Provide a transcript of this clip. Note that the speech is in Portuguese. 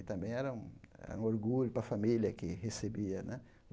E também era um era um orgulho para a família que recebia né.